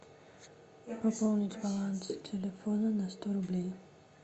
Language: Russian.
пополнить баланс телефона на сто рублей